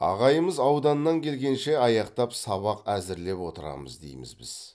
ағайымыз ауданнан келгенше аяқтап сабақ әзірлеп отырамыз дейміз біз